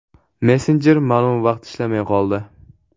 Messenjer ma’lum vaqt ishlamay qoldi.